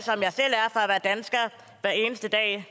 hver eneste dag